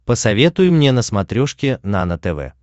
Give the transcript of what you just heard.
посоветуй мне на смотрешке нано тв